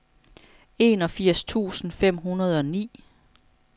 enogfirs tusind fem hundrede og ni